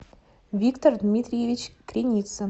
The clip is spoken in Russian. виктор дмитриевич креницын